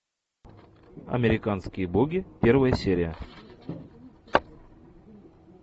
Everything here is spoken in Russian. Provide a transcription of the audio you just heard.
американские боги первая серия